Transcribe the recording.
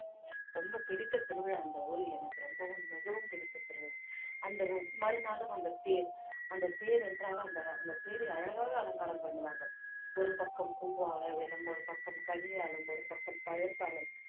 ரொம்ப பிடித்த திருவிழா இந்த ஊரில் எனக்கு ரொம்பவும் மிகவும் பிடித்த திருவிழா அந்த ஒவ்~ மறுநாளும் அந்த தேர் அந்த தேர் என்றால் அந்த அந்த தேரை அழகாக அலங்காரம் பண்ணுவார்கள் ஒரு பக்கம் பூவாவிலும் ஒரு பக்கம் கனி ஆளும் ஒரு பக்கம் பழத்தாலும்